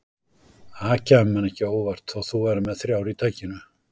Það kæmi manni ekki á óvart þótt þú værir með þrjár í takinu